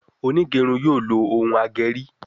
Onigerun yóò ló Òún ageri.